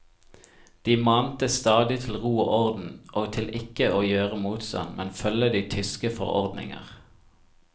De mante stadig til ro og orden og til ikke å gjøre motstand, men følge de tyske forordninger.